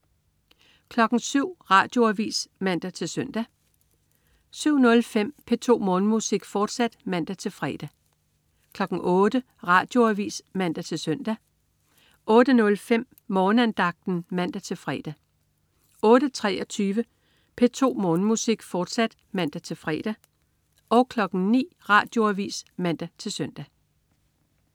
07.00 Radioavis (man-søn) 07.05 P2 Morgenmusik, fortsat (man-fre) 08.00 Radioavis (man-søn) 08.05 Morgenandagten (man-fre) 08.23 P2 Morgenmusik, fortsat (man-fre) 09.00 Radioavis (man-søn)